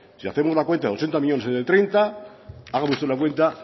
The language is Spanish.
si hacemos la cuenta de ochenta millónes entre treinta haga usted la cuenta